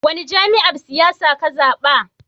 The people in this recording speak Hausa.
Wani jami'yyar siyasa ne ka zaba?